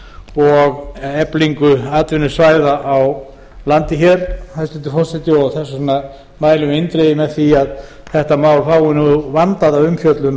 og eflingu atvinnusvæða á landinu þess vegna mælum við eindregið með því að málið fái vandaða umfjöllun